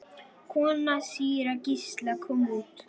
Kona síra Gísla kom út.